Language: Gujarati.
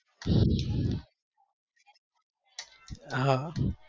હા